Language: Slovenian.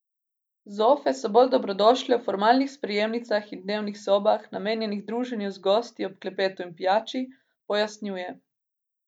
Zofe so bolj dobrodošle v formalnih sprejemnicah in dnevnih sobah, namenjenih druženju z gosti ob klepetu in pijači, pojasnjuje.